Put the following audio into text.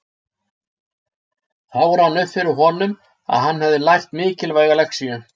Þá rann það upp fyrir honum að hann hafði lært mikilvæga lexíu.